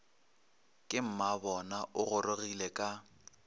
ke mmabona o gorogile ka